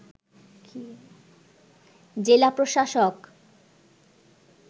জেলা প্রশাসক